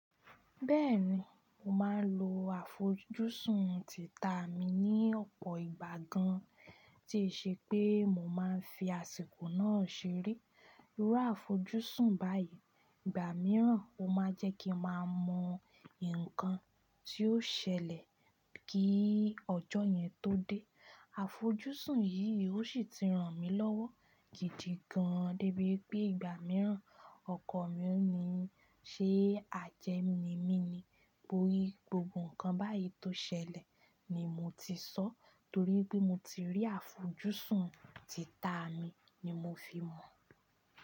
Bẹ́ẹ̀ni, mò máa ń lo àfojúsùn títà mi ní ọ̀pọ̀ ìgbà gan an, tí ó ṣe pé mò máa ń fi àsìkò náà ṣeré. Irú àfojúsùn báyìí ìgbà mìíràn o máa jẹ́ kí mà mọ nǹkan tí ó ṣẹlẹ̀ kí ọjọ́ yẹn tó dé. Àfojúsùn yìí ó sì ti ràn mí lọ́wọ́ gídigán dé bí pé ìgbà mìíràn ọkọ̀ mi ò ní ṣé ajẹ́ ní mi ni. Bori gbogbo ǹkan báyìí tó ṣẹlẹ̀ ni mò ti sọ, torí pé mo ti rí àfojúsùn títà mi ni mò fi mọ̀